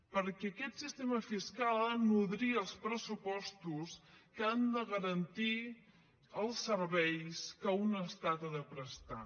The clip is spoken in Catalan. perquè aquest sistema fiscal ha de nodrir els pressupostos que han de garantir els serveis que un estat ha de prestar